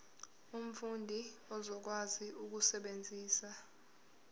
umfundi uzokwazi ukusebenzisa